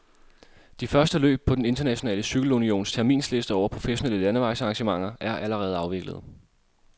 De første løb på den internationale cykelunions terminsliste over professionelle landevejsarrangementer er allerede afviklet.